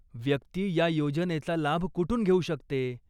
व्यक्ती या योजनेचा लाभ कुठून घेऊ शकते?